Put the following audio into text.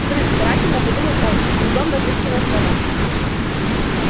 взрыв старательно подумал он с трудом разыскивая слова